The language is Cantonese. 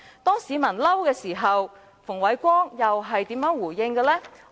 當市民大表氣憤時，馮煒光又如何回應呢？